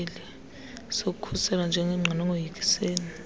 sokukhuselwa njengengqina ungoyikisela